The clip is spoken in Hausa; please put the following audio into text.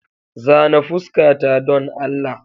Zana fuskata don Allah.